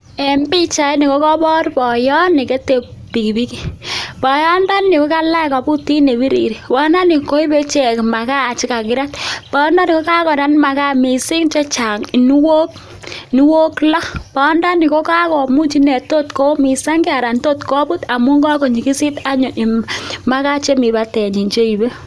En pichaini ko kobor boyot nekete pikipiki, boyondoni ko kalach kobutit ne birir, boyondooni koibe ichek makaa chekakirat, boyondoni ko kakorat makaa mising chechang inuok inuok loo, boyondoni ko kakomuch inee tot koumisang'e aran tot kobut amun kakonyikisit anyun makaa chemii batenyin cheibe.